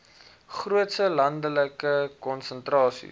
grootste landelike konsentrasie